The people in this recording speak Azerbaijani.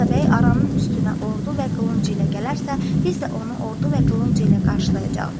Atabəy aranın üstünə ordu və qılınc ilə gələrsə, biz də onu ordu və qılınc ilə qarşılayacağıq.